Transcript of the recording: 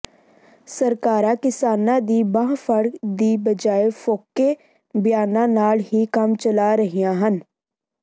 ਸਰਕਾਰਾਂ ਕਿਸਾਨਾਂ ਦੀ ਬਾਂਹ ਫੜਨ ਦੀ ਬਜਾਏ ਫੋਕੇ ਬਿਆਨਾਂ ਨਾਲ ਹੀ ਕੰਮ ਚਲਾ ਰਹੀਆਂ ਹਨ